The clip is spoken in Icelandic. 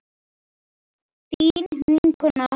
Þín vinkona Þóra.